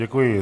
Děkuji.